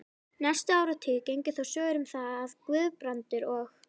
Næstu áratugi gengu þó sögur um það, að Guðbrandur og